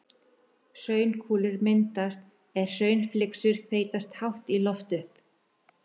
Hraunkúlur myndast er hraunflygsur þeytast hátt í loft upp.